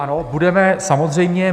Ano, budeme, samozřejmě.